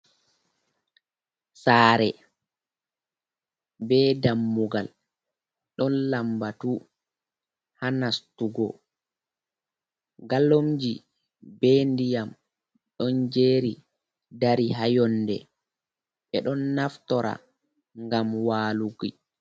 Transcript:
Saare bee dammugal ɗon lammbatu ha nastugo. "Gallomji bee ndiyam ɗon "jeeri" dari ha yonnde, ɓe ɗon naftora ngam waalugo.